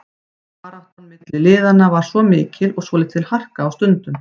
Baráttan milli liðanna var mikil og svolítil harka á stundum.